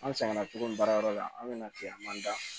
An sɛgɛnna cogo min baarayɔrɔ la an bɛna tiɲɛn an man da